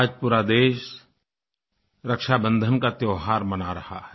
आज पूरा देश रक्षाबंधन का त्योंहार मना रहा है